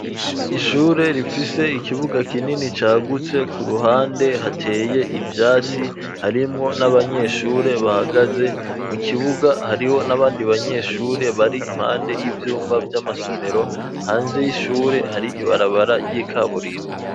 Ishure rifise ikibuga kinini cagutse ku ruhande hateye ivyatsi harimwo n'abanyeshure bahagaze mu kibuga hariho n'abandi banyeshure bari impande y'ivyumba vy'amasomero hanze y'ishure hari ibarabara vy'ikaburimbi.